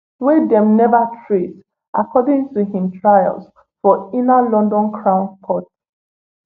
wey dem neva trace according to im trial for inner london crown court